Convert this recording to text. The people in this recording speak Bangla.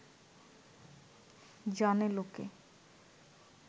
জানে লোকে